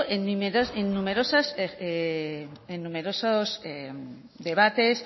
en numerosos debates